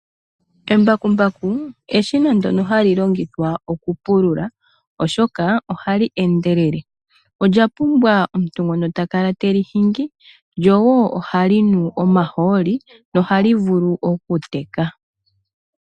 Embakumbaku eshina ndono hali longithwa okupulula oshka ohali endelele Olya pumbwa omuntu ngono takala teli hingi , Ohalinu omahooli lyo woo ohali vulu okuteka.